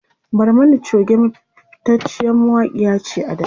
Barmani Choge fitaciyar mawakiya ce a da